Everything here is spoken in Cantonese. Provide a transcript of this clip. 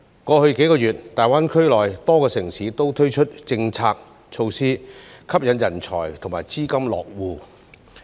過去數月，大灣區內多個城市都推出政策措施，吸引人才和資金落戶。